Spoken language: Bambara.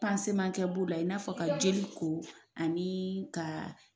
kɛ b'o la , i n'a fɔ ka jeli ko , ani ka